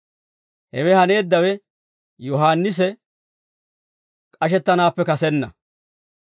Hewe haneeddawe Yohaannisi k'ashettanaappe kasenna.